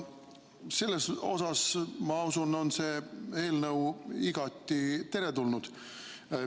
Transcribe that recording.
Selles osas, ma usun, on see eelnõu igati teretulnud.